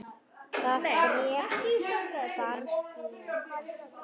Það bréf barst mér ekki!